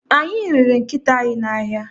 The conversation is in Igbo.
Anyị rere nkịta anyị n'ahịa.